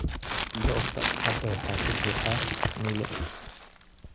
Goobta hadda waxaa ka buuxa milix.